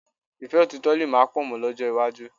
Ìfẹ́ òtítọ̀ lè má pọ̀ mọ́ lọ́jọ́ iwájú